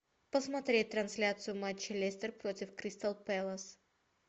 посмотреть трансляцию матча лестер против кристал пэлас